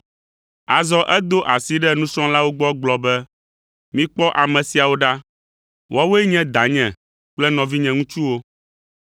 Azɔ edo esi ɖe nusrɔ̃lawo gbɔ gblɔ be, “Mikpɔ ame siawo ɖa! Woawoe nye danye kple nɔvinye ŋutsuwo.”